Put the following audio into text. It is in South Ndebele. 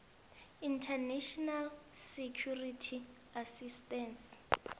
international security assistance